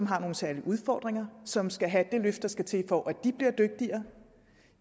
har nogle særlige udfordringer som skal have det løft der skal til for at de bliver dygtigere